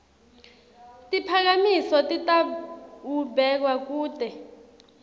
tiphakamiso titawubekwa kute